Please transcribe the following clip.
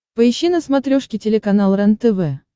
поищи на смотрешке телеканал рентв